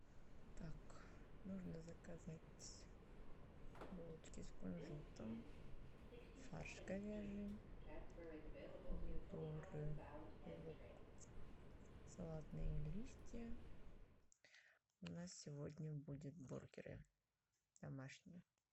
так нужно заказать булочки с кунжутом фарш говяжий помидоры лук салатные листья у нас сегодня будет бургеры домашние